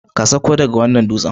Ka sauko daga wannan dutsen!